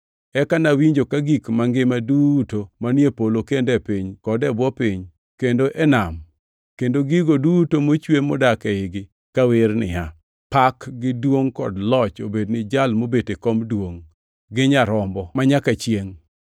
Eka nawinjo ka gik mangima duto manie polo kendo e piny kod e bwo piny, kendo e nam, kendo gigo duto mochwe modak eigi, kawer niya: “Pak gi duongʼ kod loch obed ni Jal mobet e kom duongʼ gi Nyarombo manyaka chiengʼ!”